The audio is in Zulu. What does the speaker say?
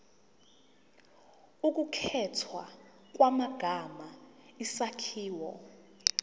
ukukhethwa kwamagama isakhiwo